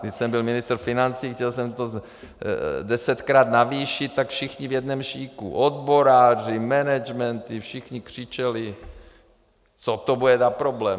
Když jsem byl ministr financí, chtěl jsem to desetkrát navýšit, tak všichni v jednom šiku, odboráři, managementy, všichni křičeli, co to bude za problém!